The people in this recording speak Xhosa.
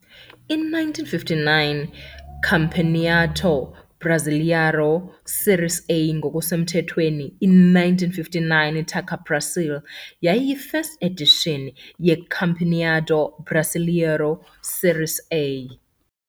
I-1959 Campeonato Brasileiro Séries A, ngokusemthethweni i- 1959 Taça Brasil, yayiyi-1st edition ye- Campeonato Brasileiro Séries A.